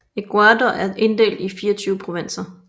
Ecuador er inddelt i 24 provinser